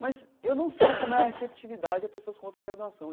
Mas eu não sei como é a receptividade das pessoas contra a graduação.